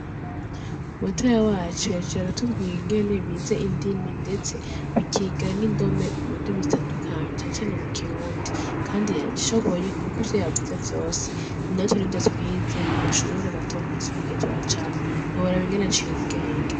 Mutewa wacu yajara aratubwira ingene bize indimi, ndetse bikigaa n'indome mu ndimi zitandukanye itana cane mu kirundi, kandi yabishoboye, kuko ivyo yavuze vyose ni natwe n'i vyo twize mu mashubure matama masobaigihe tra camwa ni wearaba inganaciye ubwenge.